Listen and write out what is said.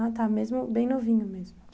Ah tá, mesmo bem novinho mesmo.